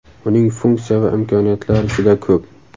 Uning funksiya va imkoniyatlari juda ko‘p.